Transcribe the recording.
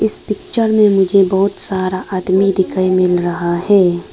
इस पिक्चर में मुझे बहुत सारा आदमी दिखाई मिल रहा है।